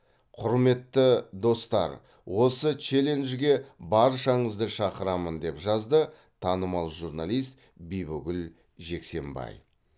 құрметті достар осы челенджге баршаңызды шақырамын деп жазды танымал журналист бибігүл жексенбай